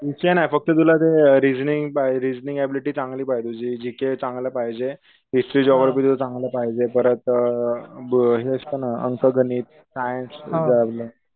विषय नाहीयेत फक्त तुला ते रेसनिंग ब रिसनिंग एबिलिटी चांगली पाहिजे, तुझं जी के चांगलं पाहिजे, हिस्ट्री जोग्राफी तुझं चांगलं पाहिजे परत ब हे असत ना अंक गणित, सायन्स